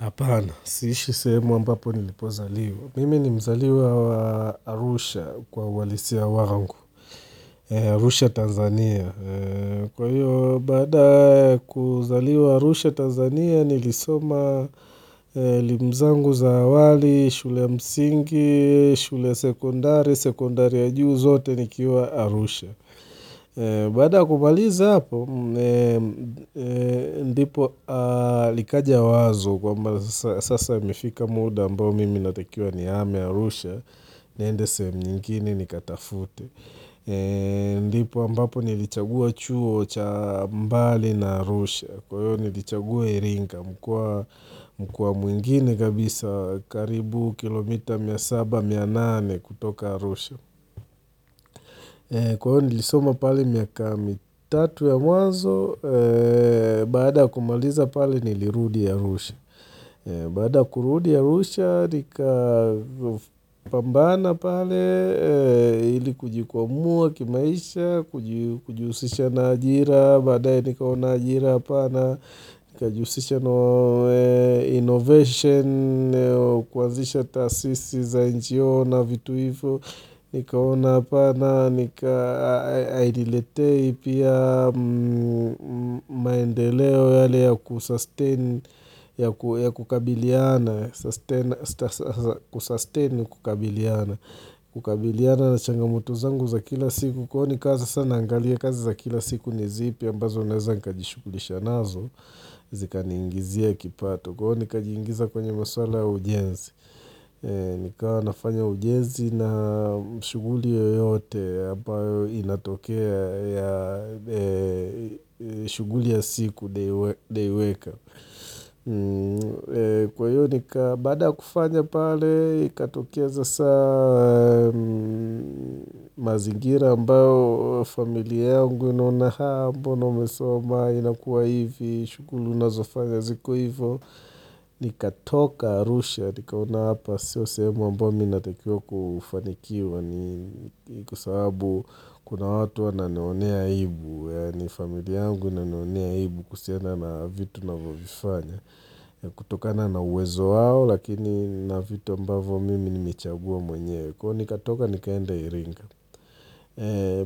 Apana, siishi sehemu ambapo nilipozaliwa. Mimi ni mzaliwa wa Arusha kwa uhalisia wangu, Arusha Tanzania. Kwa hiyo, baada ya kuzaliwa Arusha Tanzania, nilisoma elimu zangu za awali, shule ya msingi, shule ya sekondari, sekondari ya juu zote nikiwa Arusha. Baada ya kumaliza hapo, ndipo likaja wazo kwamba sasa imifika muda ambao mimi ninatakiwa nihame Arusha niende sehemu nyingine nikatafute ndipo ambapo nilichagua chuo cha mbali na Arusha Kwa hiyo nilichagua erinka mkoa mwingine kabisa karibu kilomita mia saba, mia nane kutoka Arusha Kwa hiyo nilisoma pale miaka mitatu ya mwanzo, baada ya kumaliza pale nilirudi arusha. Baada ya kurudi Arusha, nika pambana pale, ili kujikwamua kimaisha, kujihusisha na ajira, baadaye nikaona ajira hapana, Nikajihusisha innovation, kuanzisha taasisi za NGO na vitu hivyo Nikaona hapana, nika hainiletei pia maendeleo yale ya kusustain, ya kukabiliana Kusustain ni kukabiliana, kukabiliana na changamoto zangu za kila siku huoni kazi sasa naangalia kazi za kila siku ni zipi ambazo naweza nikajishughulisha nazo Zikaniingizia kipato Kwa hio nikajiingiza kwenye maswala ya ujenzi Nikawa nafanya ujenzi na shuguli yoyote ambayo inatokea ya shughuli ya siku leweka Kwa hiyo ni ka baada ya kufanya pale iatokea sasa mazingira ambao familia yangu inaona haa mbona umesoma inakuwa hivi, shughuli unazofanya ziko hivo, nikatoka Arusha, nikaona hapa sio sehemu ambayo minatakio kufanikiwa ni kwa sababu kuna watu wananionea wivu, ni familia yangu inanionea wivu kuhusiana na vitu navyovifanya, kutokana na uwezo wao lakini na vitu ambavo mimi nimechagua mwenye, kwa hiyo nikatoka nikaenda iringa.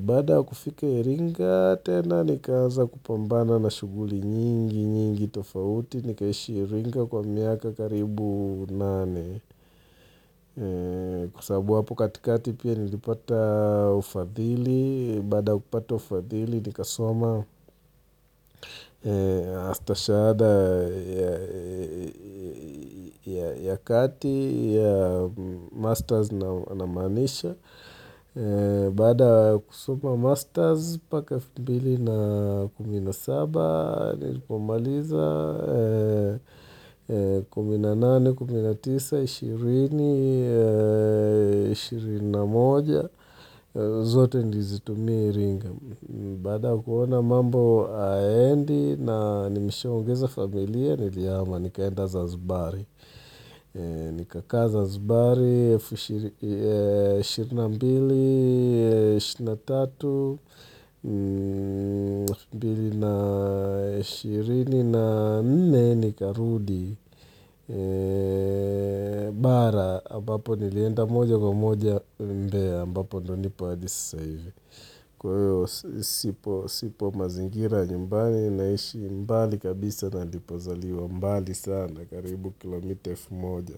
Baada ya kufika iringa, tena nikaanza kupambana na shuguli nyingi, nyingi tofauti, nikaishi iringa kwa miaka karibu nane. Kwa sababu hapo katikati pia nilipata ufadhili, baada ya kupata ufadhili nikasoma shahada ya kati, ya masters na maanisha. Baada ya kusoma masters, mpaka elfu mbili na kumi na saba, nilipomaliza, kumi na nane, kumi na tisa, ishirini, ishirini na moja zote nilizitumia iringa Baada ya kuona mambo hayaendi, na nimesha ongeza familia, nilihama, nikaenda zanzbari Nika kaa zanzibari, elfu ishirini na mbili, ishirini na tatu, mbili na ishirini na nne ni karudi, bara, ambapo nilienda moja kwa moja mbea, ambapo ndio nipo hadi sasa hivi. Kwa hio sipo mazingira ya nyumbani naishi mbali kabisa na nanilipozaliwa mbali sana karibu kilomita elfu moja.